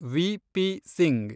VP. Singh